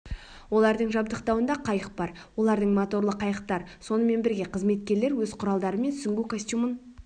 олардың жабдықтауында қайық бар олардың моторлы қайықтар сонымен бірге қызметкерлер өз құралдары мен сүңгу костюмын